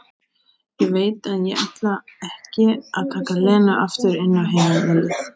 Ég veit að ég ætla ekki að taka Lenu aftur inn á heimilið.